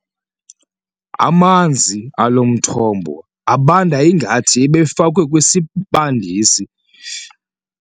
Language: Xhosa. Amanzi alo mthombo abanda ngathi ebefakwe kwisibandisi.